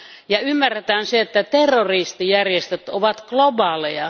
Ja ymmärretään se, että terroristijärjestöt ovat globaaleja.